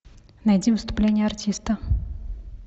найди выступление артиста